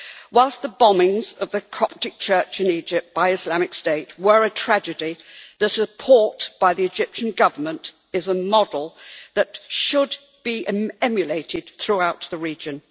Whilst the bombings of the Coptic Church in Egypt by Islamic State were a tragedy, the support by the Egyptian Government is a model that should be emulated throughout the region.